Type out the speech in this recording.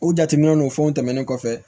U jateminɛ n'o fɛnw tɛmɛnen